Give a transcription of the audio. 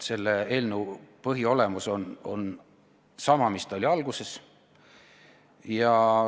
Selle eelnõu põhiolemus on sama, mis ta oli alguses.